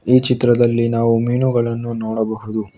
ಈ ಚಿತ್ರದಲ್ಲಿ ನಾವು ಮೀನುಗಳನ್ನು ನೋಡಬಹುದು.